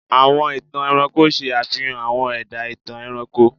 Àwọn ìtàn ẹranko ṣe àfihàn àwọn ẹ̀dá-ìtàn ẹranko.